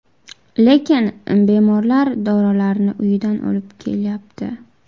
Lekin bemorlar dorilarni uyidan olib kelyapti.